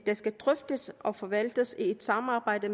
skal drøftes og forvaltes i et samarbejde